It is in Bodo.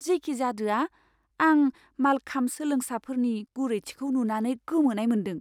जेखिजादोआ, आं मालखाम्ब सोलोंसाफोरनि गुरैथिखौ नुनानै गोमोनाय मोन्दों!